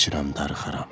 İçirəm, darıxıram.